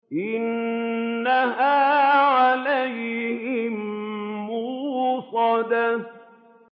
إِنَّهَا عَلَيْهِم مُّؤْصَدَةٌ